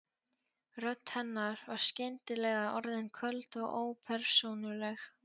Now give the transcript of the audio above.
Rödd hennar var skyndilega orðin köld og ópersónuleg.